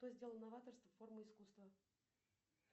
что сделало новаторство формой искусства